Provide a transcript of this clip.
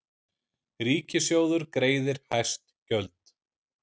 Ríkissjóður greiðir hæst gjöld